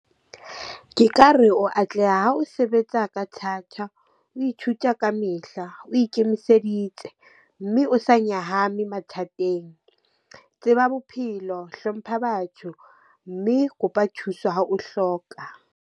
Ke ka re o atleha ha o sebetsa ka thata, o ithuta kamehla, o ikemiseditse, mme o sa nyahame mathateng. Tseba bophelo, hlompha batho, mme kopa thuso ha o hloka.